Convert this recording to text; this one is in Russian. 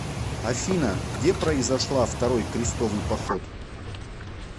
афина где произошла второй крестовый поход